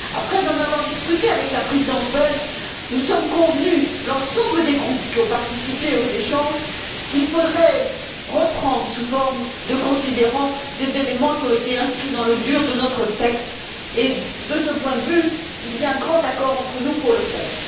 Après en avoir discuté avec la Présidence belge, nous sommes convenus l'ensemble des groupes qui ont participé aux échanges qu'il faudrait reprendre, sous forme de considérants, des éléments qui ont été inscrits dans le corps de notre texte et, de ce point de vue, il y a un grand accord entre nous pour le faire.